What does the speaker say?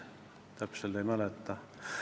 Täpselt ei mäleta.